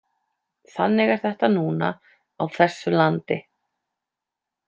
Þannig er þetta núna á þessu landi.